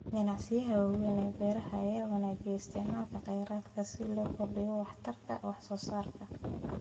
Ganacsiyada waaweyn ee beeraha ayaa wanaajiya isticmaalka kheyraadka si loo kordhiyo waxtarka wax soo saarka